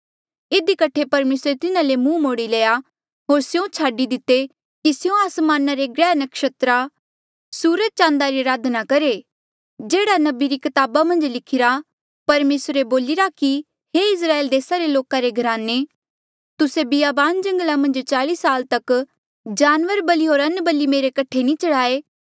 इधी कठे परमेसरे तिन्हा ले मुंह मोड़ी लया होर स्यों छाडी दिते की स्यों आसमाना रे ग्रैह नक्षत्रा सूरज चाँद री अराधना करहे जेह्ड़ा नबी री कताबा मन्झ लिखिरा परमेसरे बोलिरा कि हे इस्राएल देसा रे लोका रे घराने तुस्से बियाबान जंगला मन्झ चाल्ई साला तक जानवर बलि होर अन्नबलि मेरे कठे नी चढ़ाये